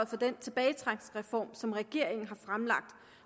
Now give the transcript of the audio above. for den tilbagetrækningsreform som regeringen har fremlagt